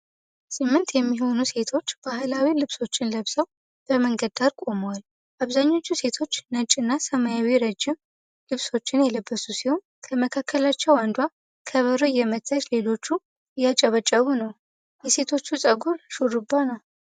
ስምንት የሚሆኑ ሴቶች ባህላዊ ልብሶችን ለብሰው በመንገድ ዳር ቆመዋል። አብዛኞቹ ሴቶች ነጭና ሰማያዊ ረጅም ልብሶችን የለበሱ ሲሆን፣ ከመካከላቸው አንዷ ከበሮ እየመታች ሌሎቹ እያጨበጨቡ ነው። የሴቶቹ ጸጉር ሹርባ ነው።